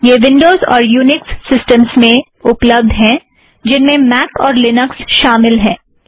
यह विन्डोज़ और Unix systems में उपलब्ध है जिनमें मॉक और लिनक्स शामील है